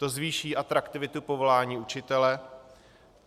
To zvýší atraktivitu povolání učitele.